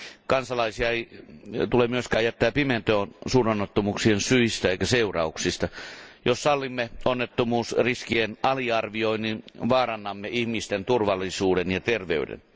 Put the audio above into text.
Kansalaisia ei tule myöskään jättää pimentoon suuronnettomuuksien syistä eikä seurauksista. Jos sallimme onnettomuusriskien aliarvioinnin, vaarannamme ihmisten turvallisuuden ja terveyden.